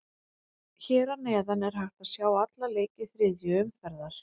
Hér að neðan er hægt að sjá alla leiki þriðju umferðar.